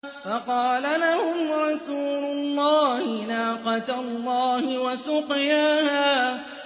فَقَالَ لَهُمْ رَسُولُ اللَّهِ نَاقَةَ اللَّهِ وَسُقْيَاهَا